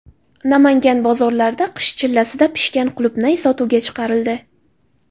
Namangan bozorlarida qish chillasida pishgan qulupnay sotuvga chiqarildi.